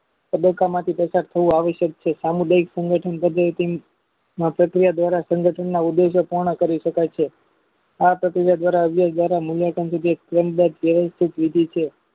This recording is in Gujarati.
તબક્કા માંથી પસાર થવુ આવશ્યક છે સામુદાયિક સંગઠક ના પ્રક્રિયા દ્વારા સંગઠનના ઉદયદાત દ્વારા કરસે આ પ્રક્રિયા દ્વારા ઉયોગ દ્વારા નીલોકન તેમ બેટ વયવસ્થિત નીતિ છે